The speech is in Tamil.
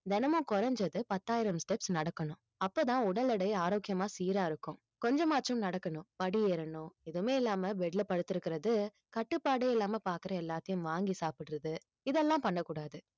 தினமும் குறைஞ்சது பத்தாயிரம் steps நடக்கணும் அப்பதான் உடல் எடை ஆரோக்கியமா சீரா இருக்கும் கொஞ்சமாச்சும் நடக்கணும் படி ஏறணும் எதுவுமே இல்லாம bed ல படுத்திருக்கிறது கட்டுப்பாடே இல்லாம பாக்குற எல்லாத்தையும் வாங்கி சாப்பிடுறது இதெல்லாம் பண்ணக்கூடாது